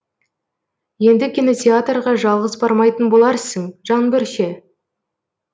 енді кинотеатрға жалғыз бармайтын боларсың жаңбыр ше